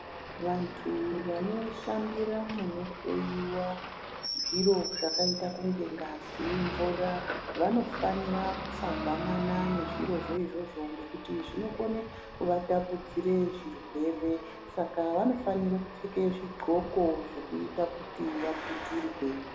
Vantu vanoshandira munohloyiwa zviro zvakaita kunge ngazi, mvura vanofanira kusagwamana nezvirozvo izvozvo ngekuti zvinokone kuvatapudzire zvirwere, Saka vanofanire kupfeke zvidxoko zvekuita kuti vaputirwe.